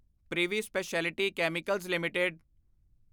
privy speciality chemicals LTD